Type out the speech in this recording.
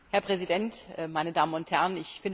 Herr Präsident, meine Damen und Herren!